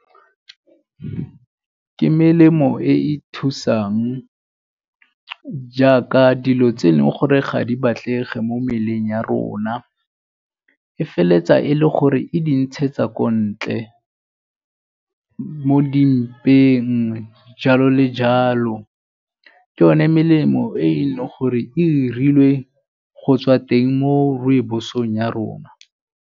Ke melemo e e thusang jaaka dilo tse e leng gore ga di batlege mo mmeleng ya rona. E feleletsa e le gore e di ntshetsa ko ntle mo di mpeng jalo le jalo. Ke one melemo e e leng gore e 'irilwe go tswa teng mo rooibos-ong ya rona.